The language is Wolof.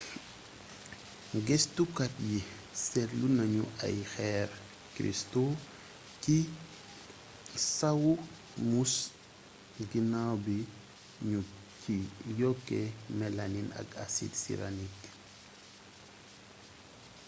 gëstukat yi seetlu nañu ay xeer cristaux ci sawu muus ginaaw bi ñu ci yokkee mélamine ak acide cyanurique